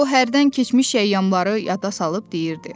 O hərdən keçmiş əyyyamları yada salıb deyirdi: